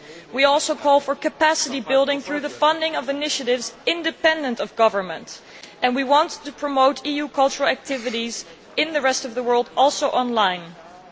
We also call for capacity building through the funding of initiatives independent of government, and we want to promote EU cultural activities in the rest of the world on line also.